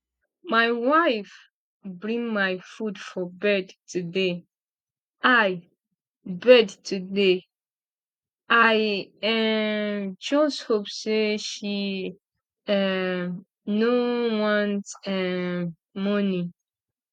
my wife bring my food for bed today i bed today i um just hope say she um no want um money